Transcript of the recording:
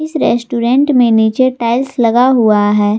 इस रेस्टोरेंट में नीचे टाइल्स लगा हुआ है।